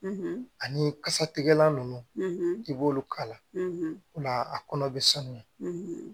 ani kasatigɛlan ninnu i b'olu kala o la a kɔnɔ bɛ sanuya